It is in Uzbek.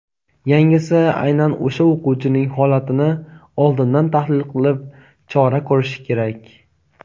yangisi aynan o‘sha o‘quvchining holatini oldindan tahlil qilib chora ko‘rishi kerak.